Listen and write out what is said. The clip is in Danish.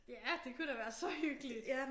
Ja det kunne da være så hyggeligt